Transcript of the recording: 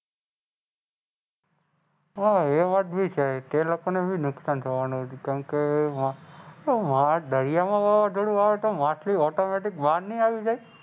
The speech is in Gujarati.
હાં એ વાત બી છે. તે લોકોને બી નુકસાન થવાનું. કેમ કે. પણ દરિયામાં વાવાઝોડું આવે તો માછલી Automatic બહાર નહીં આવી જાય.